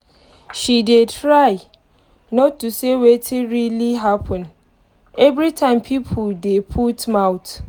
she dey try not to say wetin really happen every time pipo dey put mouth